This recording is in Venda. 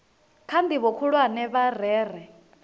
kha ndivho khulwane vha rere